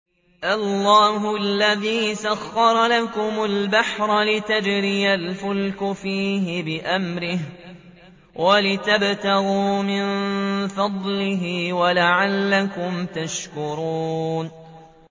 ۞ اللَّهُ الَّذِي سَخَّرَ لَكُمُ الْبَحْرَ لِتَجْرِيَ الْفُلْكُ فِيهِ بِأَمْرِهِ وَلِتَبْتَغُوا مِن فَضْلِهِ وَلَعَلَّكُمْ تَشْكُرُونَ